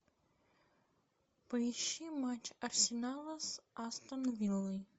поищи матч арсенала с астон виллой